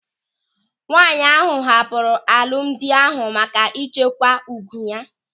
Nwaanyị ahụ hapụrụ alụmdi ahụ maka ịchekwa ùgwù ya.